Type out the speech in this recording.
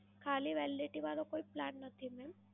ખાલી Validity વાળો કોઈ Plan નથી મેમ?